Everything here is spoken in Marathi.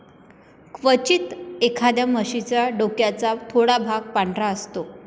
क्वचित, एखाद्या म्हशीच्या डोक्याचा थोडा भाग पांढरा असतो.